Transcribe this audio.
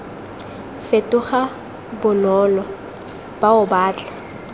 fetoga bonolo bao ba tla